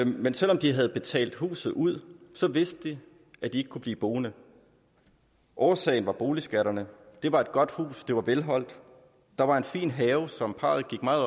men selv om de havde betalt huset ud vidste de at de ikke kunne blive boende årsagen var boligskatterne det var et godt hus det var velholdt og der var en fin have som parret gik meget